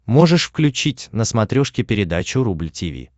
можешь включить на смотрешке передачу рубль ти ви